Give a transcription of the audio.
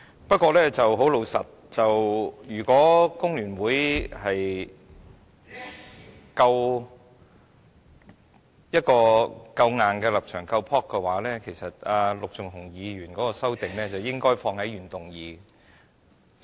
不過，老實說，如果工聯會的立場夠強硬、夠勇氣，其實陸頌雄議員的修正案是應該放在原議案內的。